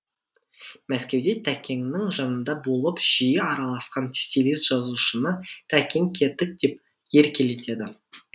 мәскеуде тәкеңнің жанында болып жиі араласқан стилист жазушыны тәкең кетік деп еркелетеді